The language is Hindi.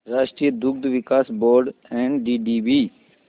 राष्ट्रीय दुग्ध विकास बोर्ड एनडीडीबी